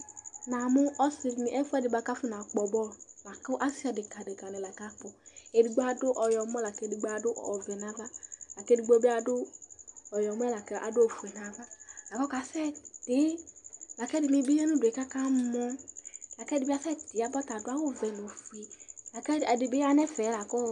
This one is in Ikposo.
Namʋ ɔsɩ dɩnɩ, ɛfʋɛdɩ bʋa kʋ afɔnakpɔ bɔlʋ la kʋ asɩ adekǝ adekǝnɩ la kakpɔ Edigbo adʋ ɔyɔmɔ la kʋ edigbo adʋ ɔvɛ nʋ ava la kʋ edigbo bɩ adʋ ɔyɔmɔ yɛ la kʋ adʋ ofue nʋ ava la kʋ ɔkasɛtɩ la kʋ ɛdɩnɩ bɩ ya nʋ udu yɛ kʋ akamɔ la kʋ ɛdɩ bɩ asɛtɩ yaba, ɔta adʋ awʋvɛ nʋ ofue, la kʋ ɛdɩ bɩ ya nʋ ɛfɛ la kʋ ɔ